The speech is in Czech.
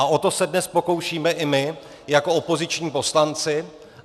A o to se dnes pokoušíme i my jako opoziční poslanci.